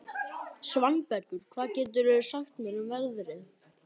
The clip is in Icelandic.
Svanbergur, hvað geturðu sagt mér um veðrið?